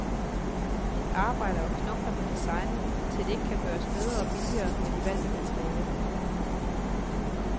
De arbejder og knokler med designet, til det ikke kan gøres bedre og billigere med de valgte materialer.